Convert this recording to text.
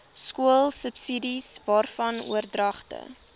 skoolsubsidies waarvan oordragte